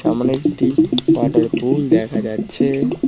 সামনে একটি ওয়াটারপুল দেখা যাচ্ছে।